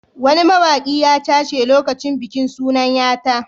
Wani mawaƙi ya cashe lokacin bikin sunan ya ta.